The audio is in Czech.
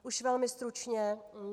Již velmi stručně.